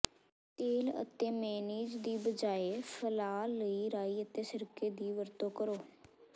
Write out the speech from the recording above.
ਤੇਲ ਅਤੇ ਮੇਅਨੀਜ਼ ਦੀ ਬਜਾਏ ਫੈਲਾਅ ਲਈ ਰਾਈ ਅਤੇ ਸਿਰਕੇ ਦੀ ਵਰਤੋਂ ਕਰੋ